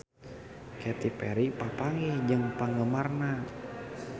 Katy Perry papanggih jeung penggemarna